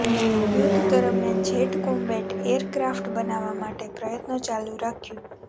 યુદ્ધ દરમિયાન jet combat aircraft બનાવવા માટે પ્રયત્નો ચાલુ રાખ્યું